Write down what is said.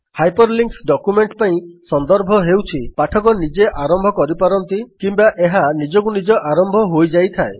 hyperlinks document ପାଇଁ ସନ୍ଦର୍ଭ ହେଉଛିପାଠକ ନିଜେ ଆରମ୍ଭ କରିପାରନ୍ତି କିମ୍ବା ଏହା ନିଜକୁ ନିଜ ଆରମ୍ଭ ହୋଇଯାଇଥାଏ